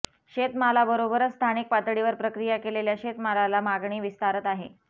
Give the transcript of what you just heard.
शेतमालाबरोबरच स्थानिक पातळीवर प्रक्रिया केलेल्या शेतमालाला मागणी विस्तारत आहे